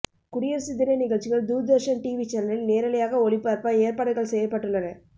குடியரசு தின நிகழ்ச்சிகள் தூர்தர்ஷன் டிவி சேனலில் நேரலையாக ஒளிபரப்ப ஏற்பாடுகள் செய்யப்பட்டுள்ளன